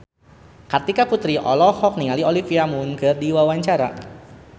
Kartika Putri olohok ningali Olivia Munn keur diwawancara